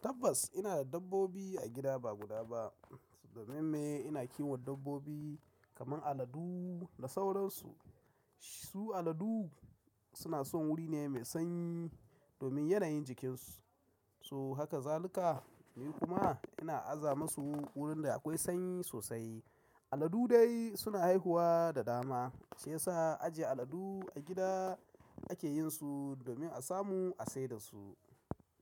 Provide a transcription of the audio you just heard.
Tabbas ina da dabbobi a gida ba guda ba. Domin mai ina kiwon dabbobi kaman aladu da sauransu. Su aladu suna son wuri ne mai sanyi domin yanayin jikinsu, so haka zalika. Ni kuma ina aza musu wurin da akwai sanyi sosai. Aladu dai suna haihuwa da dama shiyasa ajiye aladu a gida ake yin su domin a samu a saida su.